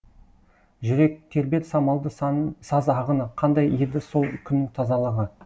жүрек тербер самалды саз ағыны қандай еді сол күннің тазалығы